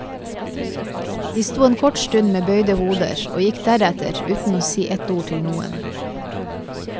De sto en kort stund med bøyde hoder og gikk deretter uten å si ett ord til noen.